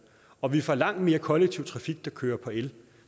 og vi får langt mere kollektiv trafik der kører på el